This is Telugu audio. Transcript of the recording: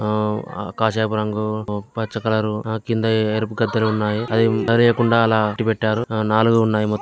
ఆ కాస్యపు రంగు ఓ పచ్చ కలర్ ఓ కింద ఎరుపు కట్టడి ఉన్నాయి అవి పడకుండా అలా అడ్డుపెట్టారు. ఆ నాలుగు ఉన్నాయి మొత్తం